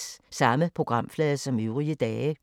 Samme programflade som øvrige dage